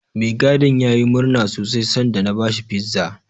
Mai gadin yayi murna sosai sanda na bashi Pizza.